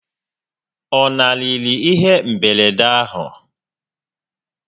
Ọ lanarịrị ihe mberede ahụ?